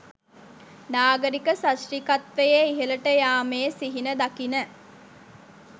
නාගරික සශ්‍රීකත්වයේ ඉහළට යාමේ සිහින දකින